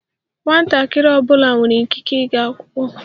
Nwatakịrị ọ bụla nwere ikike ịga akwụkwọ.